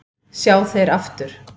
sjá þeir aftur